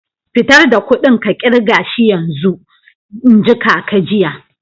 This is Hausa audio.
Fitar da kuɗin ka kirga shi yanzun! n'ji kaka jiya.